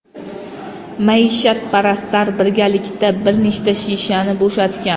Maishatparastlar birgalikda bir nechta shishani bo‘shatgan.